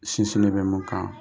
Sinsinnen bɛ mun kan